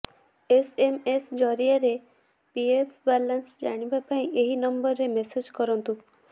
SMS ଜରିଆରେ PF balance ଜାଣିବା ପାଇଁ ଏହି ନମ୍ବରରେ ମେସେଜ କରନ୍ତୁ